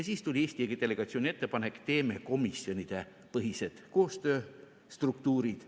Siis tuli Eesti delegatsiooni ettepanek, teeme komisjonidepõhised koostööstruktuurid.